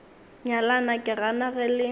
nyalana ke gana ge le